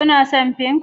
Kuna son Pink?